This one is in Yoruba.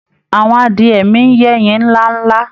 Àwọn adiẹ mi ń yẹ́yin ńlá ńlá